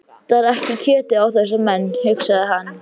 Það vantar ekki kjötið á þessa menn, hugsaði hann.